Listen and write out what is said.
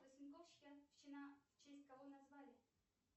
в честь кого назвали